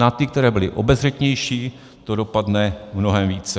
Na ty, které byly obezřetnější, to dopadne mnohem více.